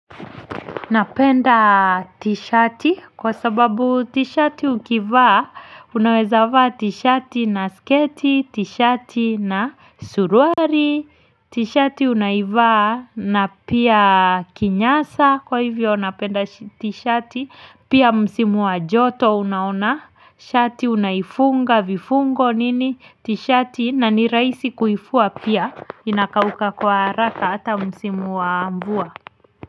Napenda tishati kwa sababu tishati ukivaa, unaweza vaa tishati na sketi, tishati na suruari, tishati unaivaa na pia kinyasa kwa hivyo napenda tishati, pia msimu wa joto unaona, shati unaifunga vifungo nini, tishati na ni raisi kuifua pia, inakauka kwa haraka ata msimu wa mvua.